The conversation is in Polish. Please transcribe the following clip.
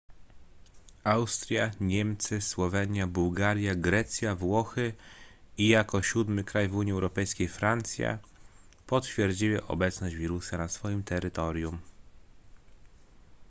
austria niemcy słowenia bułgaria grecja włochy i jako siódmy kraj w unii europejskiej francja potwierdziły obecność wirusa na swoim terytorium